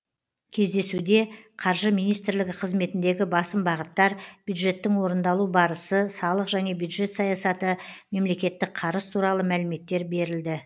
кездесуде қаржы министрлігі қызметіндегі басым бағыттар бюджеттің орындалу барысы салық және бюджет саясаты мемлекеттік қарыз туралы мәліметтер берілді